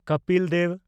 Kapil Dev